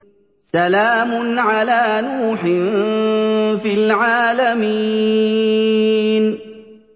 سَلَامٌ عَلَىٰ نُوحٍ فِي الْعَالَمِينَ